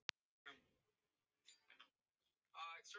Hann veiðir nagla upp úr vasanum.